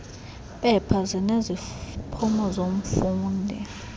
mpepha zineziphumo zomfundi